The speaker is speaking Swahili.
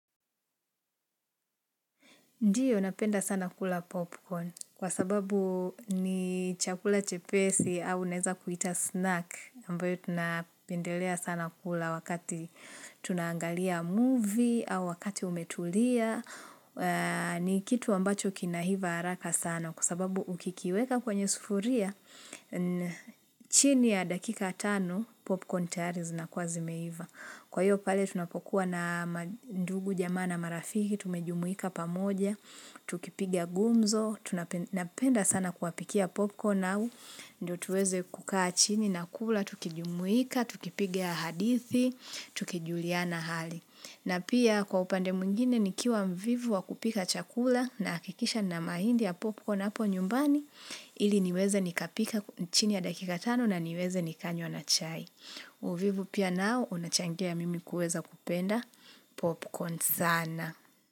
Ndiyo napenda sana kula popcorn kwa sababu ni chakula chepesi au unaeza kuita snack ambayo tunapendelea sana kula wakati tunangalia movie au wakati umetulia. Ni kitu ambacho kinaiva haraka sana kwa sababu ukikiweka kwenye sufuria chini ya dakika tano popcorn tayari zinakuwa zimeiva. Kwa hiyo pale tunapokuwa na mandugu jamaa na marafiki, tumejumuika pamoja, tukipigia gumzo, tunapenda sana kuwapikia popcorn au, ndo tuweze kukaa chini na kula, tukijumuika, tukipiga hadithi, tukijuliana hali. Na pia kwa upande mwingine nikiwa mvivu wa kupika chakula nahakikisha nina mahindi ya popcorn hapo nyumbani ili niweze nikapika chini ya dakika tano na niweze nikanywa na chai. Uvivu pia nao unachangia mimi kuweza kupenda popcorn sana.